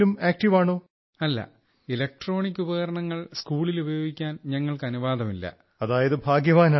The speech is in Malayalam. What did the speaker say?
not we are not allowed to use any electronic items or gadgets in the school